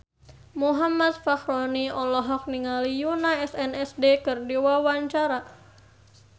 Muhammad Fachroni olohok ningali Yoona SNSD keur diwawancara